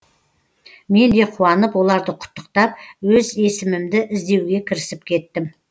мен де қуанып оларды құттықтап өз есімімді іздеуге кірісіп кеттім